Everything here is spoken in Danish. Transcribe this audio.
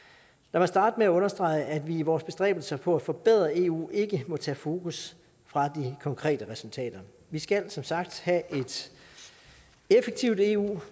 mig starte med at understrege at vi i vores bestræbelser på at forbedre eu ikke må tage fokus fra de konkrete resultater vi skal som sagt have et effektivt eu